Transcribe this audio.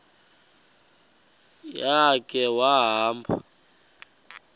ya khe wahamba